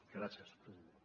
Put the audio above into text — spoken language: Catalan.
gràcies president